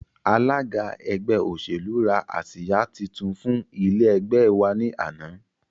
Alága ẹgbẹ́ òṣèlú rà àsìá títún fún ilé ẹgbẹ́ wa ní àná